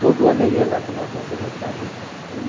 Todo ano ele ia lá tomar benção, meu padrinho. Ele